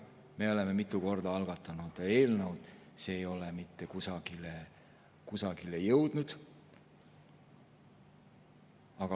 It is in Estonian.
Me oleme mitu korda algatanud eelnõu, aga see ei ole mitte kusagile jõudnud.